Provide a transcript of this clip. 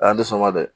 A y'a sɔnma dɛ